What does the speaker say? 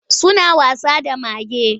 Suna wasa da mage.